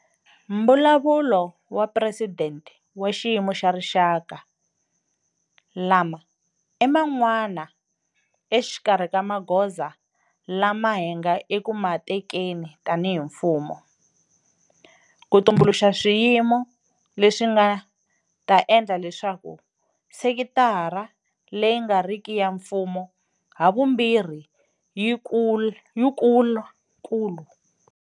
Mbulavulo wa Presidente wa Xiyimo xa Rixaka, lama i man'wana exikarhi ka magoza lama hi nga eku ma tekeni tanihi mfumo ku tumbuluxa swiyimo leswi swi nga ta endla leswaku sekitara leyi nga riki ya mfumo havumbirhi leyi kulu.